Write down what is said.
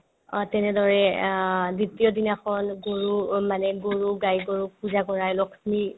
অ, তেনেদৰে অ দ্বিতীয়দিনাখন গৰু অ মানে গৰুক গাই-গৰুক পূজা কৰাই লক্ষ্মী